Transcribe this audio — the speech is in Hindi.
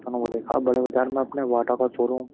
वो देखा बड़े बाजार में अपने वाटा का शोरूम --